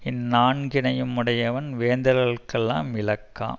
இந்நான்கினையுமுடையவன் வேந்தர்க்கெல்லாம் விளக்காம்